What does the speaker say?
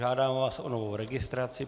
Žádám vás o novou registraci.